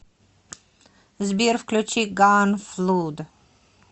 сбер включи ганфлуд